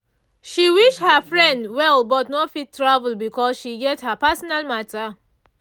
she wish her friend well but no fit travel because she get her personal matter